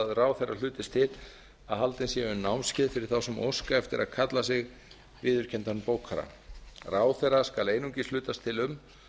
að ráðherra hlutist til að haldin séu námskeið fyrir þá sem óska eftir að kalla sig viðurkenndan bókara ráðherra skal einungis hlutast til um